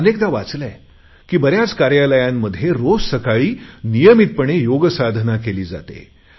मी अनेकदा वाचले आहे की बऱ्याच कार्यालयांमध्ये रोज सकाळी नियमितपणे योगसाधाना केली जाते